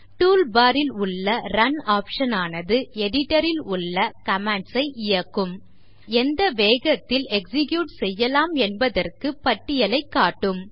tool bar ல் உள்ள run option ஆனது editor ல் உள்ள commands ஐ இயக்கும் மேலும் எந்த வேகத்தில் எக்ஸிக்யூட் செய்யலாம் என்பதற்கு பட்டியலைக் காட்டும்